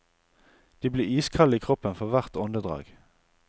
De blir iskalde i kroppen for hvert åndedrag.